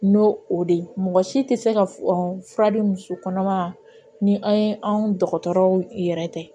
N'o o de ye mɔgɔ si tɛ se ka fura di muso kɔnɔma ma ni an ye anw dɔgɔtɔrɔw yɛrɛ tɛ